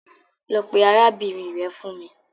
Lọ pe arabinrin rẹ fun mi